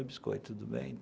Oi, Biscoito, tudo bem?